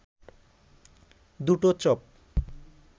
দুটো চপ